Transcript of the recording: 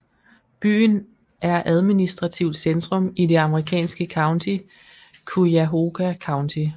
Byen er administrativt centrum i det amerikanske county Cuyahoga County